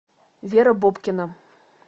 вера бобкина